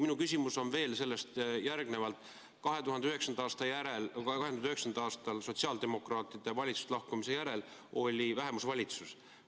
Ja mu küsimus on veel sellest tulenevalt: 2009. aastal sotsiaaldemokraatide valitsusest lahkumise järel oli vähemusvalitsus.